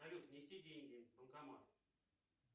салют внести деньги в банкомат